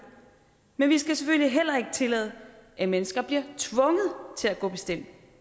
men vi skal selvfølgelig heller ikke tillade at mennesker bliver tvunget til at gå